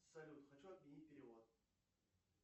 салют хочу отменить перевод